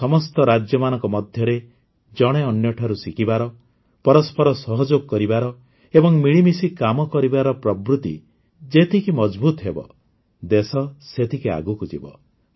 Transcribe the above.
ଆମର ସମସ୍ତ ରାଜ୍ୟମାନଙ୍କ ମଧ୍ୟରେ ଜଣେ ଅନ୍ୟଠାରୁ ଶିଖିବାର ପରସ୍ପର ସହଯୋଗ କରିବାର ଏବଂ ମିଳିମିଶି କାମ କରିବାର ପ୍ରବୃତି ଯେତିକି ମଜଭୁତ୍ ହେବ ଦେଶ ସେତିକି ଆଗକୁ ଯିବ